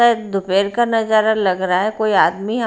शायद दोपहर का नजारा लग रहा है कोई आदमी यहां--